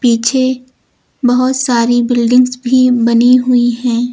पीछे बहोत सारी बिल्डिंग्स भी बनी हुई है।